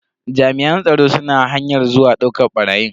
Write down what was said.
Jami'an tsaron suna hanyar zuwa dauka barayin.